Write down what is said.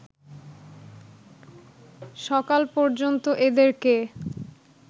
সকাল পর্যন্ত এদেরকে